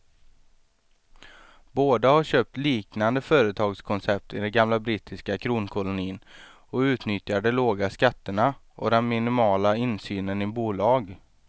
Båda har köpt liknande företagskoncept i den gamla brittiska kronkolonin och utnyttjar de låga skatterna och den minimala insynen i bolag.